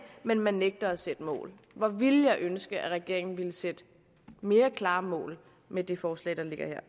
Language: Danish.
men man nægter at sætte mål hvor ville jeg ønske at regeringen ville sætte klarere mål med det forslag der ligger her